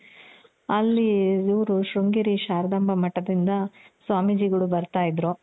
ಅಲ್ಲಿ ಇವ್ರು ಶೃಂಗೇರಿ ಶಾರದಾಂಬ ಮಠದಿಂದ ಸ್ವಾಮೀಜಿ ಗಳು ಬರ್ತಾ ಇದ್ರು.